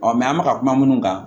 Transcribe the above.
an bɛ ka kuma minnu kan